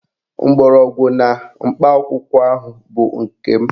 Mgbọrọgwụ na mkpa akwụkwọ ahụ bụ nke m